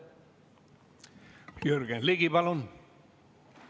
Jürgen Ligi, palun!